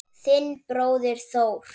Þinn bróðir Þór.